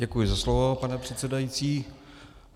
Děkuji za slovo, pane předsedající.